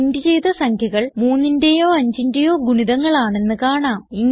print ചെയ്ത സംഖ്യകൾ 3ന്റേയോ 5ന്റേയോ ഗുണിതങ്ങൾ ആണെന്ന് കാണാം